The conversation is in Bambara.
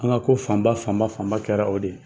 An ŋa ko fanba fanba fanba kɛra o de ye.